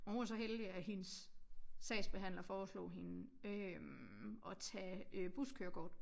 Og hun var så heldig at hendes sagsbehandler foreslog hende øh at tage buskørekort